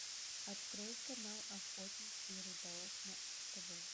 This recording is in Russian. открой канал охотник и рыболов на тв